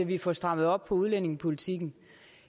vi får strammet op på udlændingepolitikken